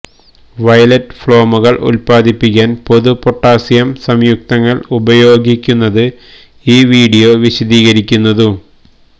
violet ഫ്ലേമുകൾ ഉത്പാദിപ്പിക്കാൻ പൊതു പൊട്ടാസിയം സംയുക്തങ്ങൾ ഉപയോഗിക്കുന്നത് ഈ വീഡിയോ വിശദീകരിക്കുന്നു